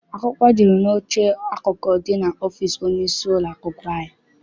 Akwụkwọ jụrụ n'oche akụkụ dị n'ọfịịsi onye isi ụlọakwụkwọ anyị.